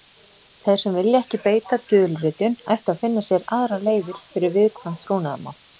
Þeir sem vilja ekki beita dulritun ættu að finna sér aðrar leiðir fyrir viðkvæm trúnaðarmál.